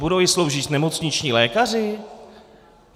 Budou ji sloužit nemocniční lékaři?